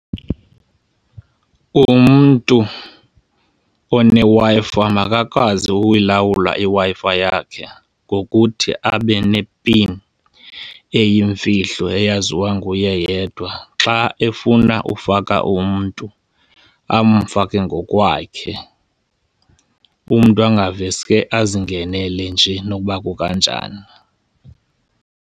Umntu oneWi-Fi makakwazi ukuyilawula iWi-Fi yakhe ngokuthi abe nepin eyimfihlo eyaziwa nguye yedwa. Xa efuna ufaka umntu amfake ngokwakhe, umntu angaveske azingenele nje nokuba kukanjani.